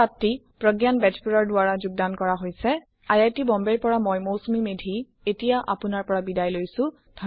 মই প্ৰগয়ান বেজবৰুৱা সমাপ্ত কৰিছো